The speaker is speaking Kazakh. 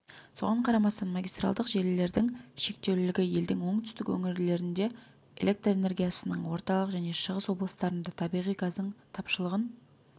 соған қарамастан магистралдық желілердің шектеулілігі елдің оңтүстік өңірлерінде электр энергиясының орталық және шығыс облыстарында табиғи газдың тапшылығын